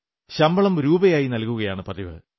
ശമ്പളം രൂപയായി നല്കുകയാണു പതിവ്